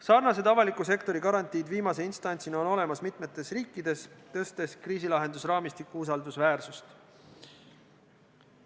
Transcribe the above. Sarnased avaliku sektori garantiid viimase instantsina on olemas mitmetes riikides, tõstes kriisilahendusraamistiku usaldusväärsust.